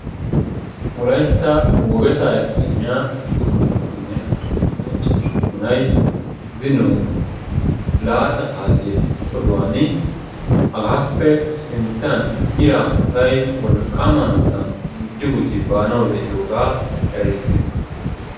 Wolaytta wogeta Efimiya uduppuna tammane usuppuna cachcha usupunay zino laaxa saate oduwan hagappe sinttan ira hanotay wolqqaama hanota gujji gujji baanaw de'iyooga erissiis.